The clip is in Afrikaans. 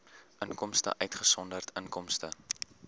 inkomste uitgesonderd inkomste